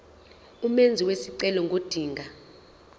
umenzi wesicelo ngodinga